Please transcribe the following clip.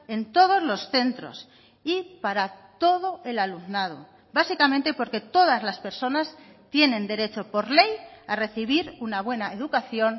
en todos los centros y para todo el alumnado básicamente porque todas las personas tienen derecho por ley a recibir una buena educación